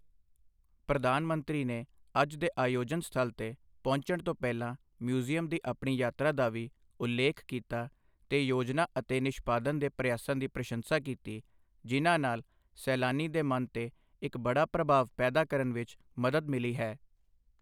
ਪ੍ਰਧਾਨ ਮੰਤਰੀ ਨੇ ਅੱਜ ਦੇ ਆਯੋਜਨ ਸਥਲ ਤੇ ਪਹੁੰਚਣ ਤੋਂ ਪਹਿਲਾਂ ਮਿਊਜ਼ੀਅਮ ਦੀ ਆਪਣੀ ਯਾਤਰਾ ਦਾ ਵੀ ਉਲੇਖ ਕੀਤਾ ਤੇ ਯੋਜਨਾ ਅਤੇ ਨਿਸ਼ਪਾਦਨ ਦੇ ਪ੍ਰਯਾਸਾਂ ਦੀ ਪ੍ਰਸ਼ੰਸਾ ਕੀਤੀ, ਜਿਨ੍ਹਾਂ ਨਾਲ ਸੈਲਾਨੀ ਦੇ ਮਨ ਤੇ ਇੱਕ ਬੜਾ ਪ੍ਰਭਾਵ ਪੈਦਾ ਕਰਨ ਵਿੱਚ ਮਦਦ ਮਿਲੀ ਹੈ।